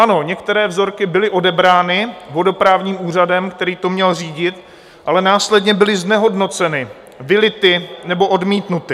Ano, některé vzorky byly odebrány vodoprávním úřadem, který to měl řídit, ale následně byly znehodnoceny, vylity nebo odmítnuty.